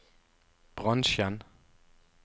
bransjen